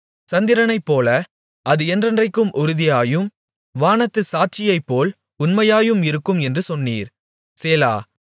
சந்திரனைப்போல அது என்றென்றைக்கும் உறுதியாயும் வானத்துச் சாட்சியைப்போல் உண்மையாயும் இருக்கும் என்று சொன்னீர் சேலா